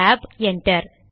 tab enter